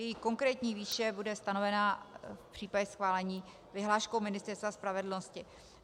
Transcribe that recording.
Jejich konkrétní výše bude stanovena v případě schválení vyhláškou Ministerstva spravedlnosti.